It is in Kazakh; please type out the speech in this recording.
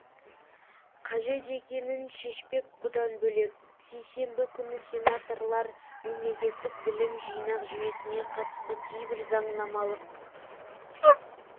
қажет екенін шешпек бұдан бөлек сейсенбі күні сенаторлар мемлекеттік білім жинақ жүйесіне қатысты кейбір заңнамалық